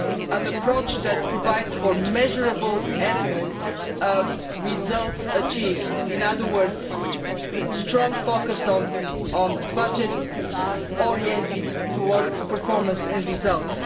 an approach that provides for measurable elements of results achieved, in other words, a strong focus on a budget oriented towards performance and results.